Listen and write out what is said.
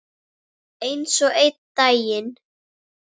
En svo einn daginn.